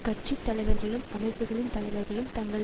கட்சி தலைவர்களும் அமைப்புக்களின் தலைவர்களும் தங்கள்